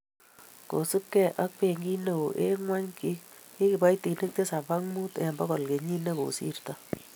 kosubgei ak benkit neoo eng' ng'ony, ki kiboitinik tisap ak mut eng' bokol kenyit ne kosirto